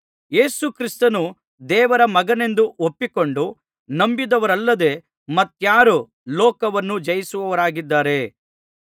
ಯೇಸುಕ್ರಿಸ್ತನು ದೇವರ ಮಗನೆಂದು ಒಪ್ಪಿಕೊಂಡು ನಂಬಿದವರಲ್ಲದೆ ಮತ್ತಾರು ಲೋಕವನ್ನು ಜಯಿಸಿದವರಾಗಿದ್ದಾರೆ